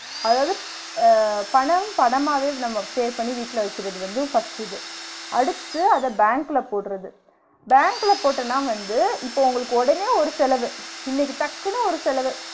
அதாவது அஹ் பணம் பணமாவே நம்ம save பண்ணி வீட்ல வைக்கிறது வந்து first இது, அடுத்து அத பேங்க்ல போடுறத, பேங்க் ல போட்டனா வந்து இப்ப உங்களுக்கு உடனே ஒரு செலவு இன்னிக்கி டக்குனு ஒரு செலவு